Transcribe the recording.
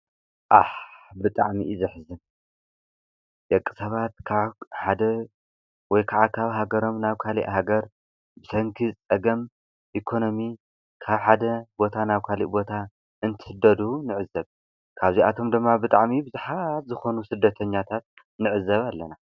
ዓሕ ብጣዕሚ እዩ ዘሕዝን:: ደቂ ሰባት ካብ ሓደ ወይከዓ ካብ ሃገሮም ናብ ካሊእ ሃገር ብሰንኪ ፀገም ኢኮኖሚ ካብ ሓደ ቦታ ናብ ካሊእ ቦታ እንትስደዱ ንዕዘብ:: ካብዚኣቶም ድማ ብጣዕሚ ቡዙሓት ዝኩኑ ስደተኛታት ንዕዘብ ኣለና ።